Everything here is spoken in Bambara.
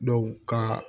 ka